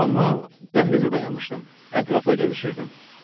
Amma dəhlizə dayanmışdım, ətrafda gəzişirdim.